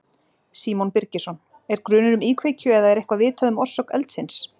Símon Birgisson: Er grunur um íkveikju eða er eitthvað vitað um orsök eldsins?